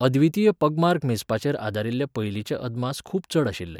अद्वितीय पगमार्क मेजपाचेर आदारिल्ले पयलिंचे अदमास खूब चड आशिल्ले.